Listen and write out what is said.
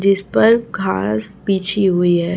जिस पर घास बिछी हुई है।